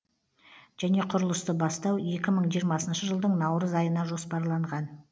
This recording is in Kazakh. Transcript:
және құрылысты бастау екі мың жиырмасыншы жылдың наурыз айына жоспарланған